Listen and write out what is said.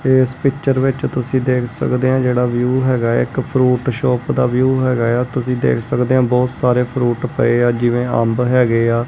ਇਸ ਪਿੱਚਰ ਵਿੱਚ ਤੁਸੀ ਦੇਖ ਸਕਦੇ ਔ ਜਿਹੜਾ ਵਿਊ ਹੈਗਾ ਇੱਕ ਫਰੂਟ ਸ਼ੌਪ ਦਾ ਵਿਊ ਹੈਗਾ ਏ ਆ ਤੁਸੀ ਦੇਖ ਸਕਦੇ ਔ ਬਹੁਤ ਸਾਰੇ ਫਰੂਟ ਪਏ ਆ ਜਿਵੇਂ ਅੰਬ ਹੈਗੇ ਆ।